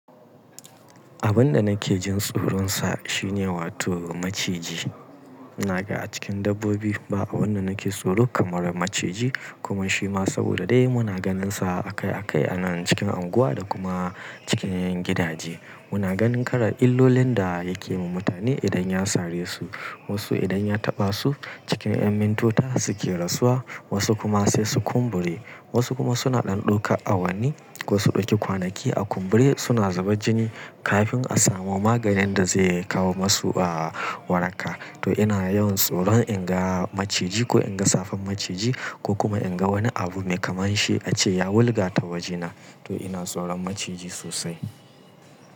Abun da nake jin tsoronsa shine wato maciji. Na ga a cikin dabbobi ba wanda nake tsoro kamar maciji kuma shi ma saboda dai muna ganinsa akai-akai a nan cikin unguwa da kuma cikin gidaje. Muna ganin karar illolin da yake yi wa mutane idan ya sare su, wasu idan ya taɓa su cikin ƴan mintuna suke rasuwa, wasu kuma sai su kumbure, wasu kuma suna ɗanɗoka awanni ko su ɗauki kwanaki a kumbure suna zuba jini kafin a samu maganin da zai kawo masu a waraka. To ina yawan tsoron in ga maciji ko in ga safan maciji ko kuma in ga wani abu mai kamar shi ace ya wulga ta wajena. To ina tsoron maciji sosai.